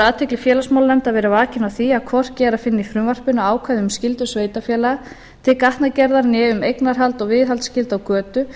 athygli félagsmálanefndar verið vakin á því að hvorki er að finna í frumvarpinu ákvæði um skyldur sveitarfélaga til gatnagerðar né um eignarhald og viðhaldsskyldu á götu